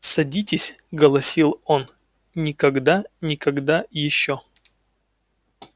садитесь голосил он никогда никогда ещё